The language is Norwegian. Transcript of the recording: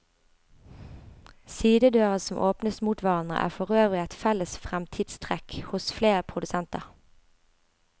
Sidedører som åpnes mot hverandre er forøvrig et felles fremtidstrekk hos flere produsenter.